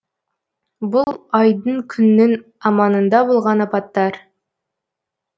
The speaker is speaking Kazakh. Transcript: бұл айдың күннің аманында болған апаттар